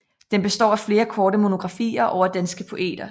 Den består af flere korte monografier over danske poeter